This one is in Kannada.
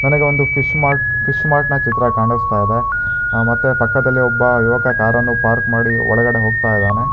ನನಗೆ ಒಂದು ಫಿಶ್ ಮಾರ್ಟ್ ಫಿಶ್ ಮಾರ್ಟ್ ನ ಚಿತ್ರ ಕಾಣಸ್ತಾ ಇದೆ ಆ ಮತ್ತೆ ಪಕ್ಕದಲ್ಲಿ ಒಬ್ಬ ಯುವಕ ಕಾರನ್ನು ಪಾರ್ಕ್ ಮಾಡಿ ಒಳಗಡೆ ಹೋಗ್ತಾ ಇದ್ದಾನೆ.